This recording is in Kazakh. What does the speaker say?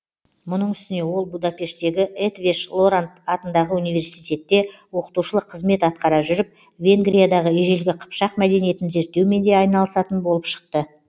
мұның үстіне ол будапештегі етвеш лоранд атындағы университетте оқытушылық кызмет атқара жүріп венгриядағы ежелгі қыпшақ мәдениетін зерттеумен де айналысатын болып шықты